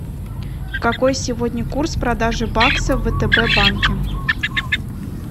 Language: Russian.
какой сегодня курс продажи бакса в втб банке